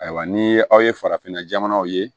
Ayiwa ni aw ye farafinna jamanaw ye